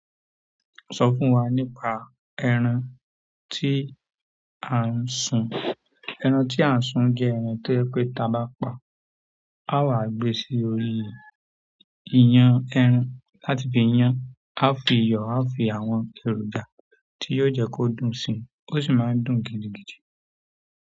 Sọ fún wa nípa ẹran tí à ń sun? Ẹran tí a ń su jẹ ẹran tó jẹ́ pé ti aba pa àwa gbé sórí iyán ẹran láti fi yan a fi iyọ̀ a fi àwọn èròjà tí o jẹ́ kí ó dùn si o sí mo dùn gidigidi.